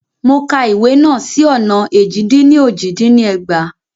Mo ka ìwé náà sì ọ̀nà éjì-dín-ní-ojì dín ní ẹgbàá.